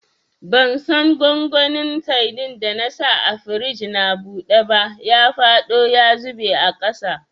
Bansan gwangwanin sadin da na sa a firij na buɗe ba, ya faɗo ya zube a ƙasa.